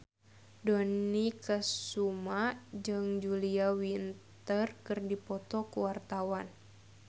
Dony Kesuma jeung Julia Winter keur dipoto ku wartawan